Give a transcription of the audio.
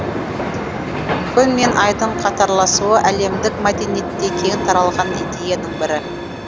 күн мен айдың қатарласуы әлемдік мәдениетте кең таралған идеяның бірі